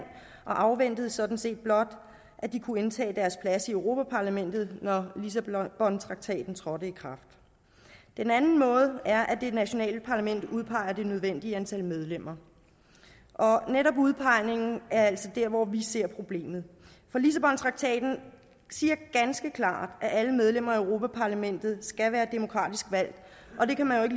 og afventede sådan set blot at de kunne indtage deres pladser i europa parlamentet når lissabontraktaten trådte i kraft den anden måde er at det nationale parlament udpeger det nødvendige antal medlemmer og netop udpegningen er altså der hvor vi ser problemet for lissabontraktaten siger ganske klart at alle medlemmer af europa parlamentet skal være demokratisk valgt og det kan man jo